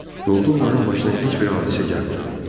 Yolda onların başına heç bir hadisə gəlmədi.